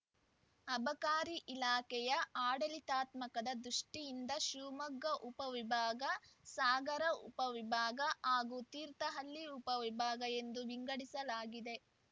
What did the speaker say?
ಅಬಕಾರಿ ಇಲಾಖೆಯ ಆಡಳಿತಾತ್ಮಕ ದೃಷ್ಟಿಯಿಂದ ಶಿವಮೊಗ್ಗ ಉಪ ವಿಭಾಗ ಸಾಗರ ಉಪ ವಿಭಾಗ ಹಾಗೂ ತೀರ್ಥಹಳ್ಳಿ ಉಪವಿಭಾಗ ಎಂದು ವಿಂಗಡಿಸಲಾಗಿದೆ